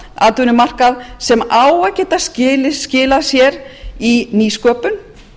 atvinnumarkað sem á að geta skilað sér í nýsköpun